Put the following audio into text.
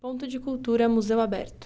Ponto de Cultura, Museu Aberto.